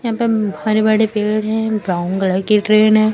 यहां पे हरे बड़े पेड़ है ब्राउन कलर की ट्रेन है।